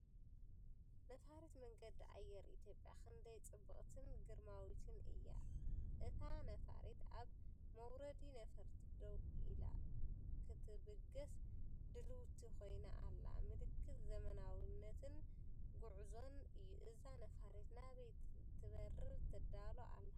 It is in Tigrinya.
ነፋሪት መንገዲ ኣየር ኢትዮጵያ ክንደይ ጽብቕትን ግርማዊትን እያ! እታ ነፋሪት ኣብ መውረዲ ነፈርቲ ደው ኢላ፡ ክትብገስ ድልውቲ ኮይና ኣላ። ምልክት ዘመናዊነትን ጉዕዞን እዩ። እዛ ነፋሪት ናበይ ክትበርር ትዳሎ ኣላ?